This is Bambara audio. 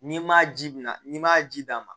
N'i ma ji bɔnna n'i ma ji d'a ma